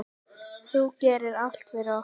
Þú gerðir allt fyrir okkur.